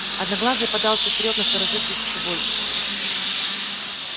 одноглазый подался вперёд насторожившись ещё больше